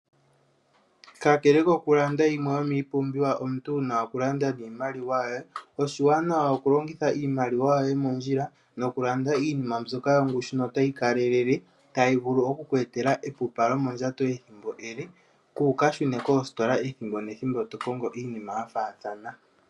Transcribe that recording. Ka kele okulanda yimwe yo miipumbiwa omuntu wu na okulanda niimaliwa yoye, oshiwanawa oku longitha iimaliwa yo ye mondjila, no kulanda iinima yongushu no ta yi kalelele, ta yi vulu oku ku etela epupa lyomondjato ethimbo ele, ku uka shu neko kositola ethimbo nethimbo tokongo iinima yafaathana.